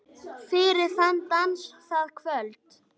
Fyrir þann dans, það kvöld.